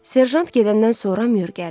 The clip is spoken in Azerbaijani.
Serjant gedəndən sonra mür gəldi.